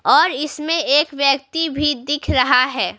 और इसमें एक व्यक्ति भी दिख रहा है।